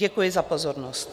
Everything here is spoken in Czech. Děkuji za pozornost.